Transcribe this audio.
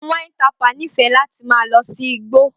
Palm wine tapper nífẹ̀ẹ́ ma lọ sí igbó